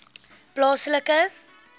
plaaslike